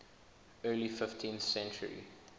early fifteenth century